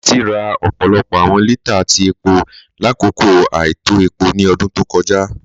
Títí rà ọpọlọpọ awọn lítàà tí epo lákọkọ àìtọ̀ epo ni ọ̀dún tó kọja.